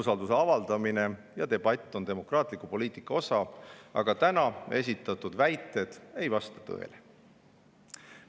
Umbusalduse avaldamine ja debatt on demokraatliku poliitika osa, aga täna esitatud väited ei vasta tõele.